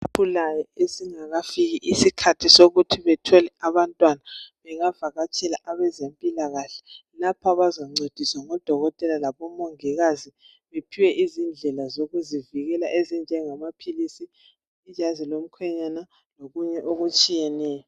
Abasakhulayo abangakafiki isikhathi sokuthi bathole abantwana bengavakatshela abezempilakahle lapho abazancediswa ngodokotela labomongikazi bephiwe izindlela zokuzivikela ezenjengamaphilisi, ijazi lomkhenyana lokunye okutshiyetshiyeneyo.